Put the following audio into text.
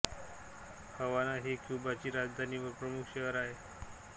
हवाना ही क्यूबाची राजधानी व प्रमुख शहर आहे